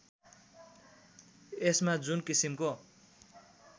यसमा जुन किसिमको